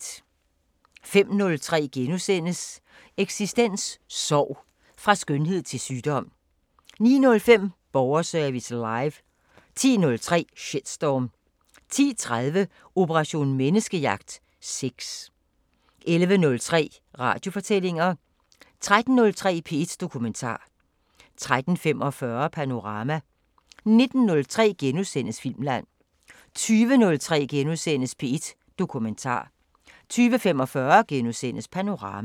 05:03: Eksistens: Sorg – fra skønhed til sygdom * 09:05: Borgerservice Live 10:03: Shitstorm 10:30: Operation Menneskejagt: Sex 11:03: Radiofortællinger 13:03: P1 Dokumentar 13:45: Panorama 19:03: Filmland * 20:03: P1 Dokumentar * 20:45: Panorama *